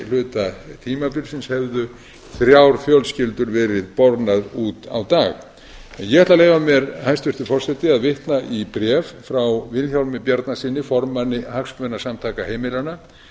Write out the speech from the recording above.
hluta tímabilsins hefðu þrjár fjölskyldur verið bornar út á dag ég ætla að leyfa mér hæstvirtur forseti að vitna í bréf frá vilhjálmi bjarnasyni formanni hagsmunasamtaka heimilanna